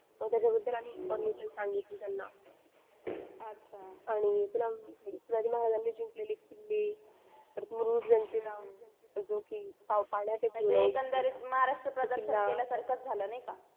मग त्याच्याबद्दल आम्ही information सांगितली त्यांना आणि शिवाजी महाराजांनी जिंकलेले किल्ले मुरुड जंजिरा अजून के पाण्यात एखादे